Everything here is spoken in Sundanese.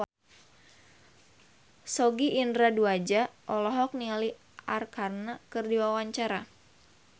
Sogi Indra Duaja olohok ningali Arkarna keur diwawancara